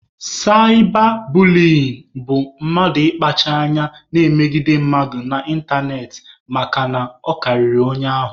Saịba buliyin bụ mmadụ ịkpacha anya na-emegide mmadụ n'ịntanetị makana ọ karịrị onye ahụ